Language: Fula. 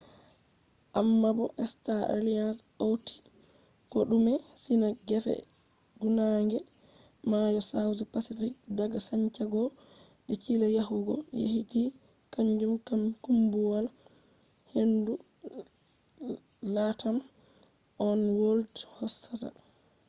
ammabo star alliance hauti kodume sina gefe funange mayo south pacific daga santiago de chile yahugo tahiti kanjum kam kuumbuwal-hendu latam oneworld hosata